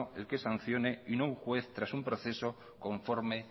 el que sancione y no un juez tras un proceso conforme